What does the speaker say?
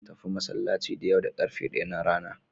Zan tafi masallacin da yau da ƙarfe ɗaya na rana.